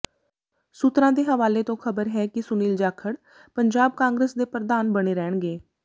ਸੂਤਰਾਂ ਦੇ ਹਵਾਲੇ ਤੋਂ ਖ਼ਬਰ ਹੈ ਕਿ ਸੁਨੀਲ ਜਾਖੜ ਪੰਜਾਬ ਕਾਂਗਰਸ ਦੇ ਪ੍ਰਧਾਨ ਬਣੇ ਰਹਿਣਗੇ